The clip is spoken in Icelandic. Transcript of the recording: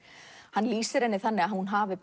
hann lýsir henni þannig að hún hafi